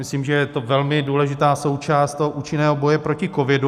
Myslím, že je to velmi důležitá součást toho účinného boje proti covidu.